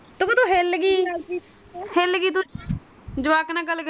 ਜਵਾਕ ਨਾਲ ਗਲ ਕਰ।